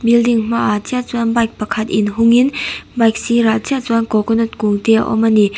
building hmaah chiah chuan bike pakhat in hung in bike sirah chiah chuan coconut kung te a awm ani.